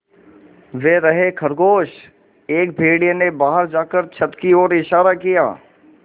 वे रहे खरगोश एक भेड़िए ने बाहर जाकर छत की ओर इशारा किया